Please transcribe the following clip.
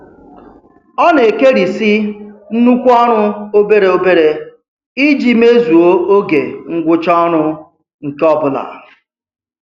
Ọ na-ekerisị nnukwu ọrụ obere obere iji mezuo oge ngwụcha ọrụ nke ọbụla.